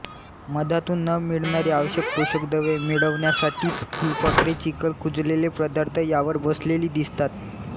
मधातून न मिळणारी आवश्यक पोषक द्रव्ये मिळवण्यासाठीच फुलपाखरे चिखल कुजलेले पदार्थ यावर बसलेली दिसतात